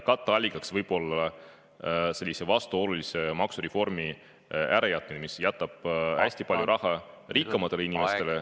Katteallikaks võib olla selle vastuolulise maksureformi ärajätmine, mis jätaks hästi palju raha rikkamatele inimestele …